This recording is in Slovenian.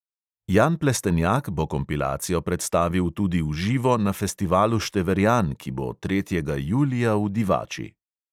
Jan plestenjak bo kompilacijo predstavil tudi v živo na festivalu števerjan, ki bo tretjega julija v divači.